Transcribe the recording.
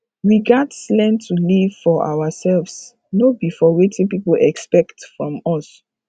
we gats learn to live for ourselves no be for wetin pipo expect from us